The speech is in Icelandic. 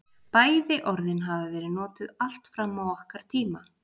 Bæði orðin hafa verið notuð allt fram á okkar tíma.